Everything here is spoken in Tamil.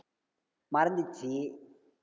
மறந்துச்சு